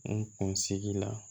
N kun sigi la